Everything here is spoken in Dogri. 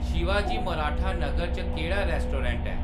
शिवाजी मराठा नगर च केह्‌‌ड़ा रेस्टोरेंट ऐ